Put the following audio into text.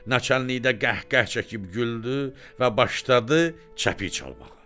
Naçennikdə qəhqəh çəkib güldü və başladı çəpik çalmağa.